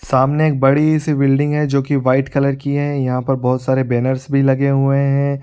सामने के बड़ी-सी बिल्डिंग है जो की व्हाइट कलर की है यहां पर बहुत सारे बैनर्स भी लगे हुए है।